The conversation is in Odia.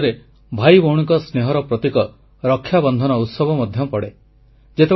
ଏହି ମାସରେ ଭାଇ ଭଉଣୀଙ୍କ ସ୍ନେହର ପ୍ରତୀକ ରକ୍ଷାବନ୍ଧନ ଉତ୍ସବ ମଧ୍ୟ ପଡ଼େ